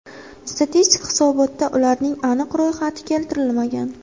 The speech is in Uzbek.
Statistik hisobotda ularning aniq ro‘yxati keltirilmagan.